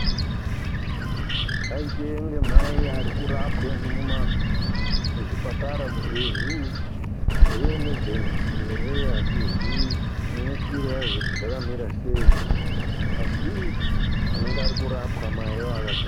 Paitenge mai irikurapwa muzvipatara umu. Kuti iimejenzi ere atiziyi neshwiro yazvo kuti zvakamira sei asi vanenge vari kurapwa mai avo vakagara.